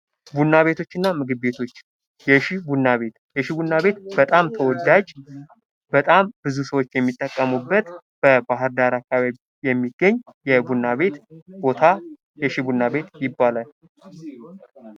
ቡና ቤቶችና ምግብ ቤቶች ፦ የሽ ቡና ቤት ፦ የሺ ቡና ቤት በጣም ተወዳጅ ፣ በጣም ብዙ ሰዎች የሚጠቀሙበት በባህር ዳር አካባቢ የሚገኝ የቡና ቤት ቦታ የሺ ቡና ቤት ይባላል ።